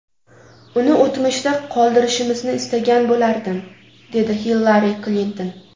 Uni o‘tmishda qoldirishimizni istagan bo‘lardim”, dedi Hillari Klinton.